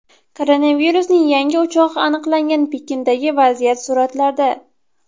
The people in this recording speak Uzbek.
Koronavirusning yangi o‘chog‘i aniqlangan Pekindagi vaziyat suratlarda.